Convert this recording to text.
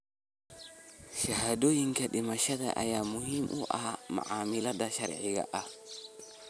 Shahaadooyinka dhimashada ayaa muhiim u ah macaamilada sharciga ah.